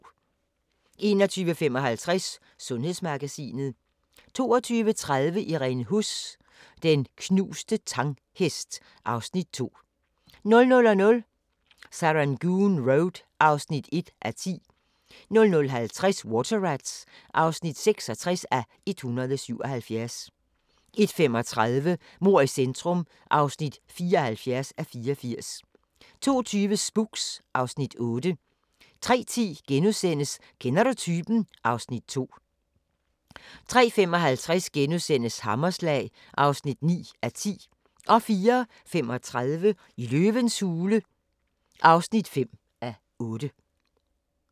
21:55: Sundhedsmagasinet 22:30: Irene Huss: Den knuste Tang-hest (Afs. 2) 00:00: Serangoon Road (1:10) 00:50: Water Rats (66:177) 01:35: Mord i centrum (74:84) 02:20: Spooks (Afs. 8) 03:10: Kender du typen? (Afs. 2)* 03:55: Hammerslag (9:10)* 04:35: Løvens hule (5:8)